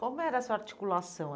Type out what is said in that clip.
Como era a sua articulação?